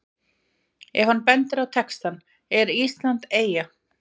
Ef hann bendir á textann ER ÍSLAND EYJA?